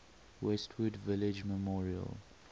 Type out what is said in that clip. westwood village memorial